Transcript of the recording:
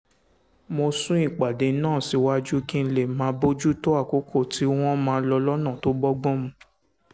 mo sún ìpàdé náà síwájú kí n lè máa bójú tó àkókò tí wọ́n máa lò lọ́nà tó bọ́gbọ́n mu